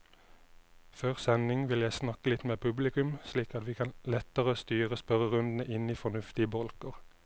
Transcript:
Før sending vil jeg snakke litt med publikum, slik at vi lettere kan styre spørrerundene inn i fornuftige bolker.